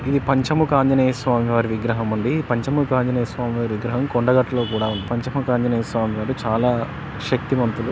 ఇది పంచముఖ ఆంజనేయ స్వామి వారి విగ్రహముంది ఈ పంచముఖ ఆంజనేయ స్వామి వారి విగ్రహం కొండగట్లో కూడా ఉంది పంచముఖ ఆంజనేయ స్వామి వారు చాలా శక్తివంతులు.